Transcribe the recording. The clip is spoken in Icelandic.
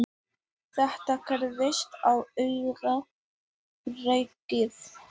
Þetta gerðist á augabragði.